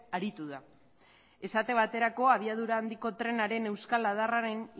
aritu da esate baterako abiadura handiko trenaren euskal adarraren